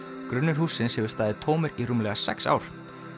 grunnur hússins hefur staðið tómur í rúmlega sex ár